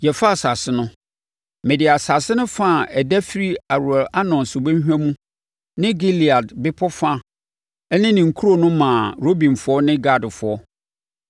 Yɛfaa asase no, mede asase no fa a ɛda firi Aroer Arnon subɔnhwa mu ne Gilead bepɔ fa ne ne nkuro no maa Rubenfoɔ ne Gadfoɔ.